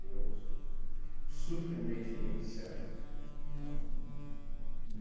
Deu su surpreendentemente certo, tá? Uhm uhm